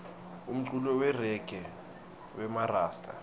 umculo weregayi wemarasta